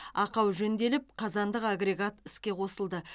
ақау жөнделіп қазандық агрегат іске қосылды